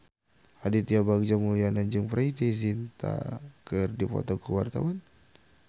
Aditya Bagja Mulyana jeung Preity Zinta keur dipoto ku wartawan